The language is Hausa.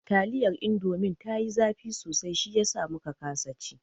Taliyar indomin ta yi zafi sosai shiyasa muka kasa ci